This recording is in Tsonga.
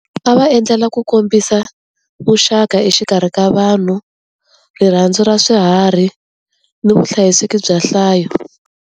A va endlela ku kombisa vuxaka exikarhi ka vanhu, rirhandzu ra swiharhi, ni vuhlayiseki bya nhlayo.